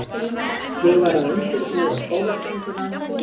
Ég var að undirbúa skólagönguna.